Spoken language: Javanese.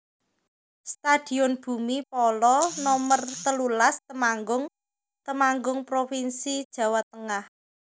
Stadion Bhumi Phala Nomer telulas Temanggung Temanggung provinsi Jawa Tengah